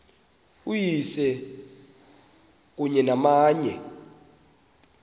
uyise kunye namanye